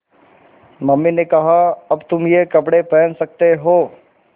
mummy ने कहा अब तुम ये कपड़े पहन सकते हो